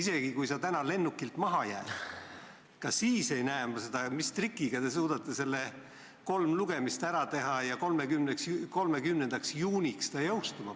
Isegi kui sa täna lennukist maha jääd, ka siis ei näe ma, mis trikiga te suudate kolm lugemist ära teha ja panna selle 30. juunist jõustuma.